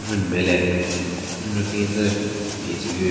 Ajvun nme le anyu pen tsü kebin tsü hyu.